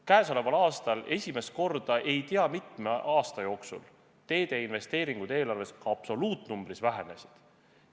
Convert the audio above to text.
Käesoleval aastal esimest korda ei tea mitme aasta jooksul teede investeeringud eelarves absoluutnumbris vähenesid.